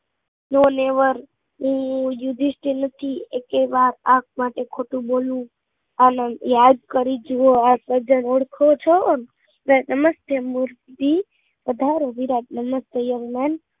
નો લીવર હું યુધિષ્ઠિર નથી એટલે આંખ માટે ખોટો બોલવું જોવું તમે આ સજ્જન માણસ ને ઓળખો છો? કે અમસ્થી મૂર્તિ પધારો, નમસ્તે વિરાજન